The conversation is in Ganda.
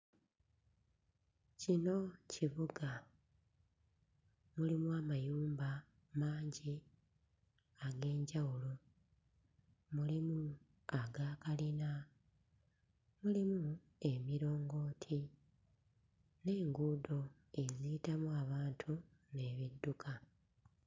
Kino kibuga, mulimu amayumba mangi ag'enjawulo, mulimu agakalina, mulimu emiraongooti n'enguudo eziyitamu abantu n'ebidduka.